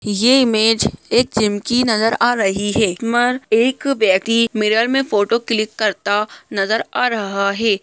ये इमेज एक जिम की नजर आ रही है एक व्यक्ति मिरर में फोटो क्लिक करता नजर आ रहा है।